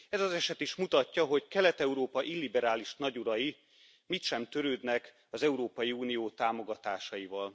Ez az eset is mutatja, hogy Kelet Európa illiberális nagyurai mit sem törődnek az Európai Unió támogatásaival.